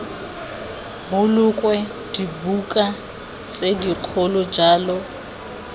bolokwe dibuka tse dikgolo jalo